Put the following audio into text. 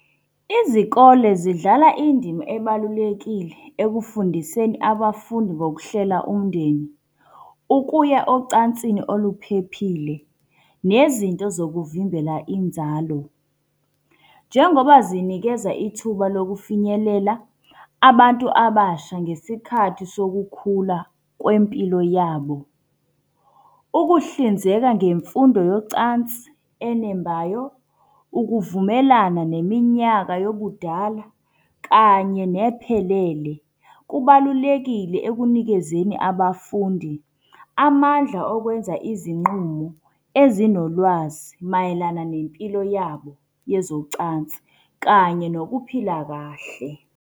Izikole zidlala indima ebalulekile ekufundiseni abafundi ngokuhlela umndeni, ukuya ocansini oluphephile, nezinto zokuvimbela inzalo. Njengoba zinikeza ithuba lokufinyelela abantu abasha ngesikhathi sokukhula kwempilo yabo. Ukuhlinzeka ngemfundo yocansi enembayo, ukuvumelana neminyaka yobudala, kanye nephelele, kubalulekile ekunikezeni abafundi amandla okwenza izinqumo ezinolwazi. Mayelana nempilo yabo yezocansi kanye nokuphila kahle.